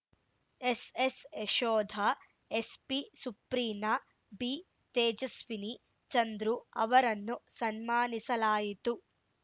S S Yashoda SP Supreena B Tejaswini Chandru ಅವರನ್ನು ಸನ್ಮಾನಿಸಲಾಯಿತು